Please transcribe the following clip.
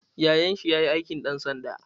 Yayan shi ya yi aikin ɗan sanda.